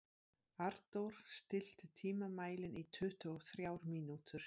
Arndór, stilltu tímamælinn á tuttugu og þrjár mínútur.